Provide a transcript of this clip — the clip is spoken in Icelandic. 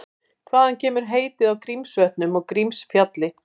Hvaðan kemur heitið á Grímsvötnum og Grímsfjalli?